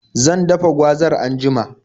Zan dafa gwazar anjima.